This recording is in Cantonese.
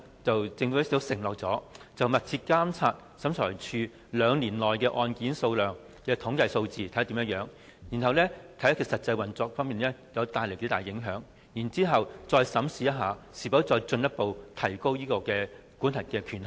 政府承諾會密切監察審裁處兩年內案件的統計數字，視乎是次修訂對審裁處的實際運作所帶來的影響，再審視是否進一步提高審裁處的司法管轄權限。